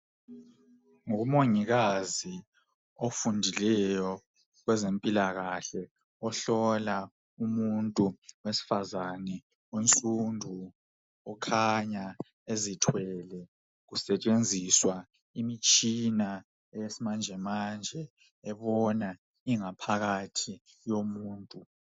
Ngumongikazi ofundileyo kwezempilakhahle ohlola umuntu wesifazane onsundu okhanya ezithwele kusetshenziswa imitshina eyesimanjemanje ebona ingaphakathi yomuntu.